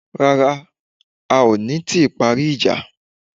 Rárá, a ò tíì parí ìjà